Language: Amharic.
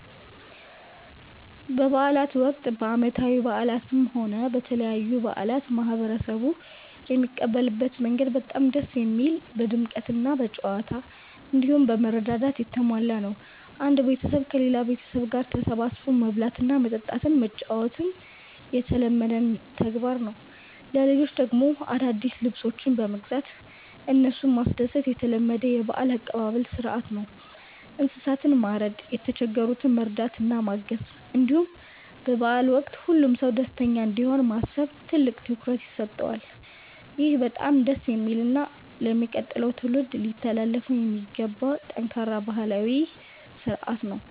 በበዓላት ወቅት፣ በዓመታዊ በዓላትም ሆነ በተለያዩ በዓላት ማህበረሰቡ የሚቀበልበት መንገድ በጣም ደስ የሚል፣ በድምቀትና በጨዋታ፣ እንዲሁም በመረዳዳት የተሞላ ነው። አንድ ቤተሰብ ከሌላ ቤተሰብ ጋር ተሰባስቦ መብላት፣ መጠጣትና መጫወት የተለመደ ተግባር ነው። ለልጆች ደግሞ አዳዲስ ልብሶችን በመግዛት እነሱን ማስደሰት የተለመደ የበዓል አቀባበል ሥርዓት ነው። እንስሳትን ማረድ፣ የተቸገሩትን መርዳትና ማገዝ፣ እንዲሁም በበዓሉ ወቅት ሁሉም ሰው ደስተኛ እንዲሆን ማሰብ ትልቅ ትኩረት ይሰጠዋል። ይህ በጣም ደስ የሚልና ለሚቀጥለው ትውልድ ሊተላለፍ የሚገባው ጠንካራ ባህላዊ ሥርዓት ነው።